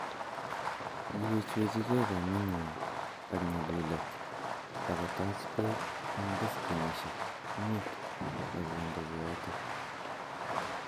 Kiwechwechkei kamenywa ak nyalylet akotach Bek eng beskenisiek mut akondochi yoto